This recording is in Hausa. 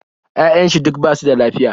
Ya'yan shi duk basu da lafiya